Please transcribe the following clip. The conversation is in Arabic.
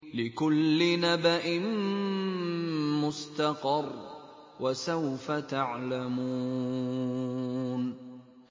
لِّكُلِّ نَبَإٍ مُّسْتَقَرٌّ ۚ وَسَوْفَ تَعْلَمُونَ